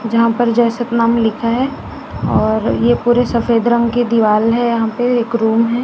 यहाँ पर जय सतनाम लिखा है और ये पूरे सफेद रंग की दीवाल है यहाँ पे एक रूम है।